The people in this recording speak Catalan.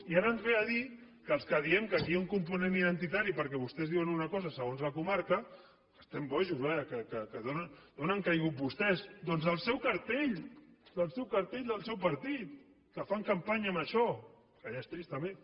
i ara ens ve a dir que els que diem que aquí hi ha un component identitari perquè vostès diuen una cosa segons la comarca estem bojos vaja que d’on han caigut vostès doncs del seu cartell del seu cartell del seu partit que fan campanya amb això que ja és trist també